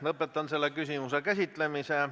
Lõpetan selle küsimuse käsitlemise.